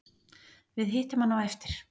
Við hittum hann á eftir